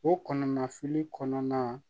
O kɔnɔna fili kɔnɔna